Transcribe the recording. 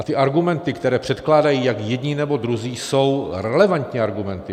A ty argumenty, které předkládají jak jedni, nebo druzí, jsou relevantní argumenty.